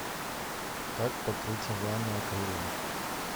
как покрыть ванну акрилом